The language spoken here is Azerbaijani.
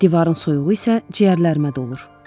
Divarın soyuğu isə ciyərlərimə dolur.